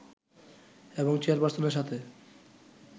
এবং চেয়ারপার্সনের সাথে